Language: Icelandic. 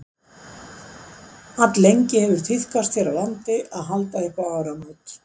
alllengi hefur tíðkast hér á landi að halda upp á áramót